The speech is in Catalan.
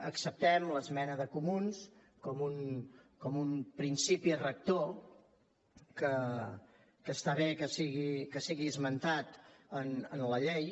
acceptem l’esmena de comuns com un principi rector que està bé que sigui esmentat en la llei